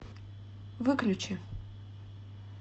выключи